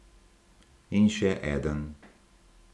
In še eden.